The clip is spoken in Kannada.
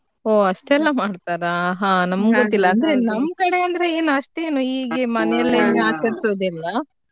ಹೋ ಅಷ್ಟೆಲ್ಲಾ ಮಾಡ್ತಾರಾ ಹಾ ನಮ್ಗ್ ಗೊತ್ತಿಲ್ಲ ನಮ್ ಕಡೆ ಏನು ಅಷ್ಟು ಮನೆಯಲ್ಲಿ ಆಚರಿಸುದಿಲ್ಲ .